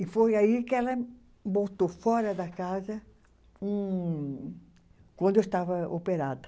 E foi aí que ela botou fora da casa com quando eu estava operada.